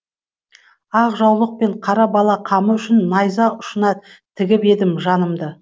ақ жаулық пен қара бала қамы үшін найза ұшына тігіп едім жанымды